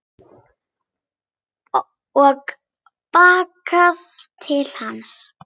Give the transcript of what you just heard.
Og bakkar til hans.